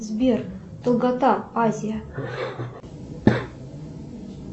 сбер долгота азия